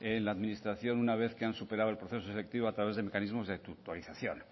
en la administración una vez que han superado el proceso selectivo a través de mecanismos de tutorización